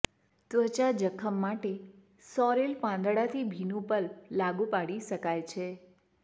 ત્વચા જખમ માટે સોરેલ પાંદડા થી ભીનું પલ્પ લાગુ પાડી શકાય છે